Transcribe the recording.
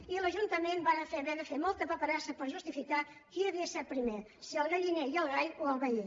i l’ajuntament va haver de fer molta paperassa per justificar qui havia set primer si el galliner i el gall o el veí